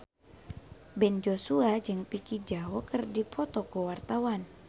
Ben Joshua jeung Vicki Zao keur dipoto ku wartawan